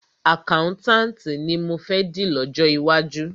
Àkáùntànti ni mọ fẹ́ di lọ́jọ́ iwájú.